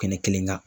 Kɛnɛ kelen kan